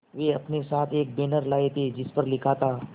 वे अपने साथ एक बैनर लाए थे जिस पर लिखा था